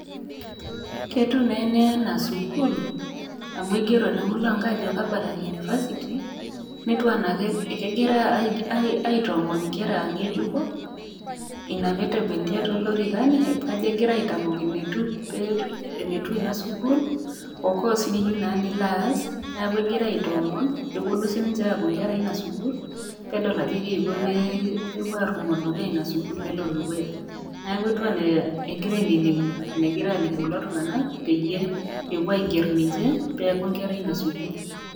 Ketiu naa ene anaa sukuul, amu keigero te emulango ajo Kabarak university. Netiu anaa kegira aitoomon inkera ng'ejuko, Ina pee etewunitia too ilorikan, ajo egira aitamok enetiu Ina sukuul, o course niyiu naa nilo aas, neaku egira aitoomon pee ewuonu sii ninche aaku inkera Ina sukuul nedol ajo Keiko pee ewuo arumoo dukuya Ina sukuul pelo dukuya. Neaku etiu anaa egira ainining'u enegira aaliki kulo tung'ana peyie ewuo aiger ninche pee eaku inkera Ina sukuul.